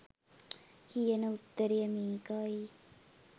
කියන උත්තරය මේකයි